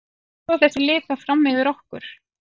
Hvað hafa þessi lið þá fram yfir okkur?